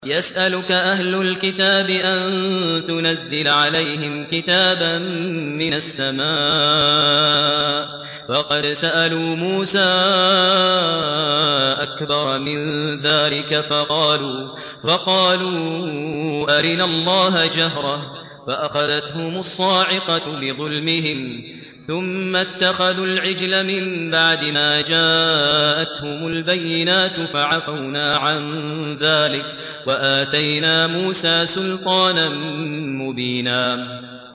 يَسْأَلُكَ أَهْلُ الْكِتَابِ أَن تُنَزِّلَ عَلَيْهِمْ كِتَابًا مِّنَ السَّمَاءِ ۚ فَقَدْ سَأَلُوا مُوسَىٰ أَكْبَرَ مِن ذَٰلِكَ فَقَالُوا أَرِنَا اللَّهَ جَهْرَةً فَأَخَذَتْهُمُ الصَّاعِقَةُ بِظُلْمِهِمْ ۚ ثُمَّ اتَّخَذُوا الْعِجْلَ مِن بَعْدِ مَا جَاءَتْهُمُ الْبَيِّنَاتُ فَعَفَوْنَا عَن ذَٰلِكَ ۚ وَآتَيْنَا مُوسَىٰ سُلْطَانًا مُّبِينًا